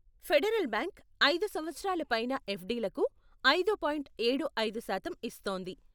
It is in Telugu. ఫెడరల్ బ్యాంక్ ఐదు సంవతరాల పైన ఎఫ్డీలకు ఐదు పాయింట్ ఏడు ఐదు శాతం ఇస్తోంది.